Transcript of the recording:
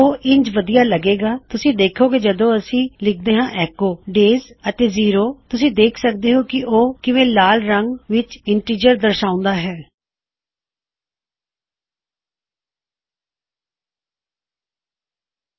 ਉਹ ਇੰਜ ਵਧੀਆ ਲਗੇਗਾ ਤੁਸੀਂ ਦੇਖੋਂਗੇ ਜਦੋ ਅਸੀਂ ਇਥੇ ਲਿਖਦੇ ਹਾਂ ਐੱਕੋ ਡੇਜ਼ ਅਤੇ ਜ਼ੀਰੋ ਤੁਸੀਂ ਦੇਖ ਸਕਦੇ ਹੋਂ ਕੀ ਉਹ ਕਿਵੇਂ ਲਾਲ ਰੰਗ ਵਿੱਚ ਆਇਆ ਹੈ ਇਨਟਿਜਰ ਅਤੇ ਨੰਬਰ ਨੂੰ ਦਿਖਾੳਣ ਲਈ